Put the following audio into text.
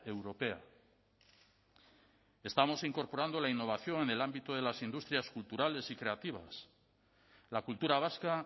europea estamos incorporando la innovación en el ámbito de las industrias culturales y creativas la cultura vasca